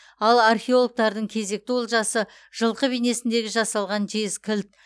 ал археологтардың кезекті олжасы жылқы бейнесінде жасалған жез кілт